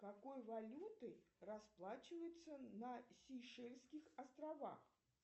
какой валютой расплачиваются на сейшельских островах